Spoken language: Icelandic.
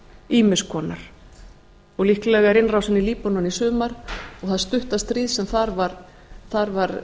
ýmiss konar líklega er innrásin í líbanon í sumar og það stutta stríð sem þar var